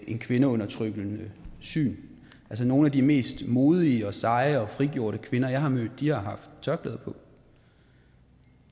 et kvindeundertrykkende syn altså nogle af de mest modige og seje og frigjorte kvinder jeg har mødt har haft tørklæde på